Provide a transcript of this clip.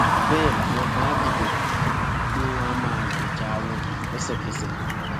bẹẹ làwọn kan áà dìde tí wọn áà máa gbèjà wọn lẹsẹkẹsẹ